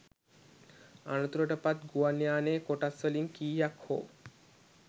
අනතුරට පත් ගුවන් යානයේ කොටස්වලින් කීයක් හෝ